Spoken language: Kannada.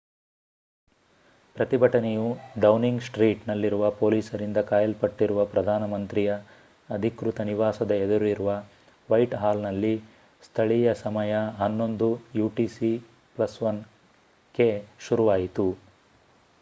ಪ್ರತಿಭಟನೆಯು ಡೌನಿಂಗ್ ಸ್ಟ್ರೀಟ್ ನಲ್ಲಿರುವ ಪೊಲೀಸರಿಂದ ಕಾಯಲ್ಪಟ್ಟಿರುವ ಪ್ರಧಾನ ಮಂತ್ರಿಯ ಅಧಿಕೃತ ನಿವಾಸದ ಎದುರಿರುವ ವೈಟ್ ಹಾಲ್ ನಲ್ಲಿ ಸ್ಥಳೀಯ ಸಮಯ 11:00utc +1ಕ್ಕೆ ಶುರುವಾಯಿತು